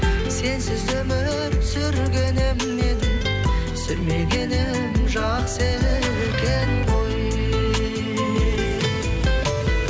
сенсіз өмір сүргенімнен сүрмегенім жақсы екен ғой